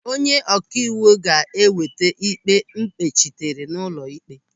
Onye ọkaiwu ga-eweta ịkpe mkpechitere n'ụlọ ịkpe.